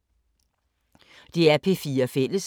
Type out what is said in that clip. DR P4 Fælles